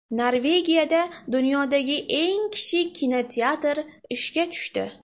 Norvegiyada dunyodagi eng kichik kinoteatr ishga tushdi.